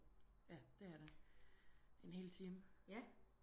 Ja det er det en hel time